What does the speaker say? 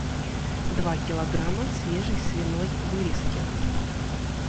два килограмма свежей свиной вырезки